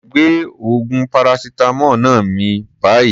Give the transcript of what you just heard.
Gbé oògùn paracetamol náà mì báyìí.